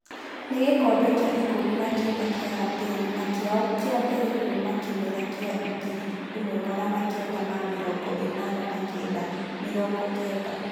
Nĩ gĩkombe kĩa ikũmi nakenda kĩa Lapele na kĩao kĩambere kuuma kĩmera kĩa ngirĩ ĩmwe magana kenda ma-mirongo ĩnana na kenda - mĩrongo-kenda.